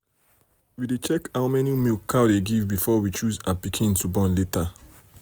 na fowl wey sabi shout and jump well well we dey pick to knack hen for village.